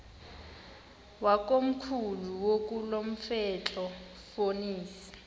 wakomkhulu wakulomfetlho fonis